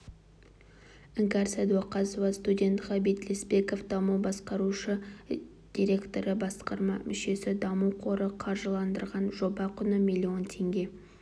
іңкәр сәдуақасова студент ғабит лесбеков даму басқарушы директоры-басқарма мүшесі даму қоры қаржыландырған жоба құны млн теңге